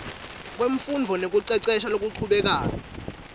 wemfundvo nekucecesha lokuchubekako